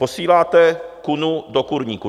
Posíláte kunu do kurníku!